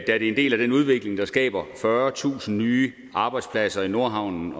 det er en del af den udvikling der skaber fyrretusind nye arbejdspladser i nordhavn